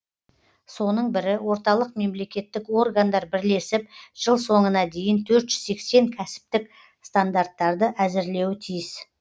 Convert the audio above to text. соның бірі орталық мемлекеттік органдар бірлесіп жыл соңына дейін төрт жүз сексен кәсіптік стандарттарды әзірлеуі тиіс